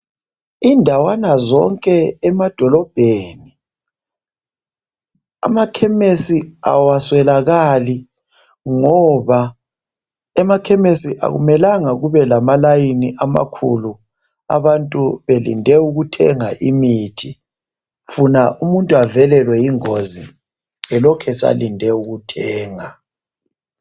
Indawana zonke emadolobheni, amakhemesi awaswelakali ngoba emakhemesi akumelanga kube lama layini amakhulu abantu belinde ukuthenga imithi funa umuntu avelelwe yingozi elokhu esalinde ukuthenga